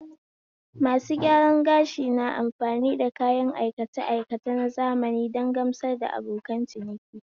Masu gyaran gashi na amfani da kayan aikace aikace na zamani don gamsar da abokan ciniki